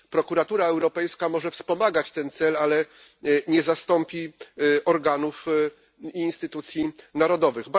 Prokuratura Europejska może wspomagać ten cel, ale nie zastąpi organów i instytucji narodowych.